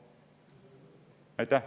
Aitäh!